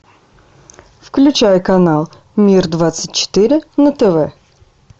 включай канал мир двадцать четыре на тв